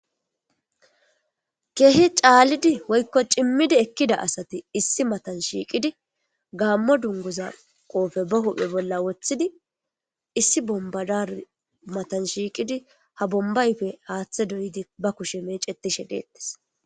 kehi caalidi woykko cimmidi ekkida asati issi matan shiiqidi gaammo dunguza qoofe ba huphe bolla woththidi issi bombadar matan shiiqidi ha bombayfe haaththe doyidi ba kushe meecetishe deettes